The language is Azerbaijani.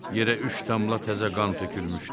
Yerə üç damla təzə qan tökülmüşdü.